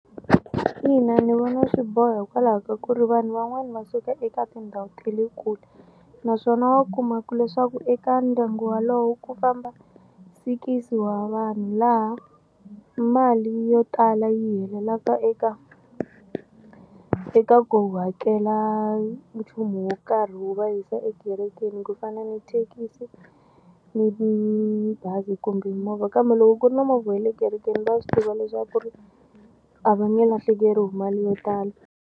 Ina ni vona swi boha hikwalaho ka ku ri vanhu van'wani va suka eka tindhawu ta le kule naswona wa kuma ku leswaku eka ndyangu walowo ku famba sikisi wa vanhu laha mali yo tala yi helelaka eka eka ku hakela nchumu wo karhi wu va yisa ekerekeni ku fana ni thekisi ni mabazi kumbe movha kambe loko ku ri na movha ya le kerekeni va swi tiva leswaku ri a va nge lahlekeriwi hi mali yo tala.